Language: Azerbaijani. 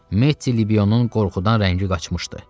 Mehdinin qorxudan rəngi qaçmışdı.